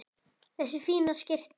Þessi fína skyrta!